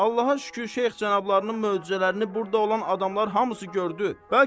Allaha şükür, şeyx cənablarının möcüzələrini burda olan adamlar hamısı gördü.